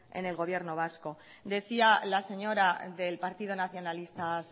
en el gobierno vasco decía la señora del partido nacionalista